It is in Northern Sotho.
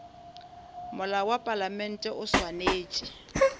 molao wa palamente o swanetše